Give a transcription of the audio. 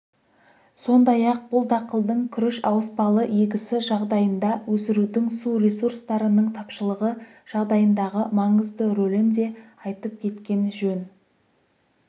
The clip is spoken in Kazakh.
сондай-ақ бұл дақылдың күріш ауыспалы егісі жағдайында өсірудің су ресурстарының тапшылығы жағдайындағы маңызды ролін де айтып кеткен жөн